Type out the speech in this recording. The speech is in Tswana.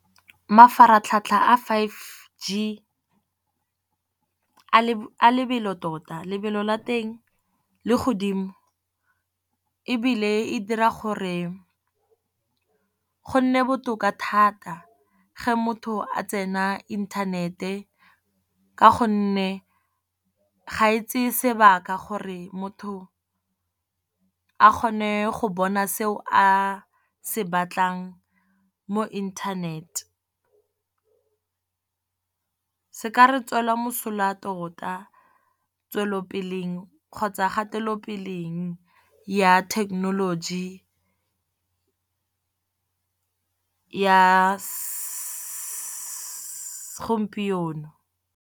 Mafaratlhatlha a five G a lebelo tota. Lebelo la teng le godimo, ebile e dira gore go nne botoka thata ge motho a tsena inthanete, ka gonne ga e tseye sebaka gore motho a kgone go bona seo a se batlang mo internet. Se ka re tswela mosola tota tswelelopele kgotsa kgatelopele ya thekenoloji ya gompieno.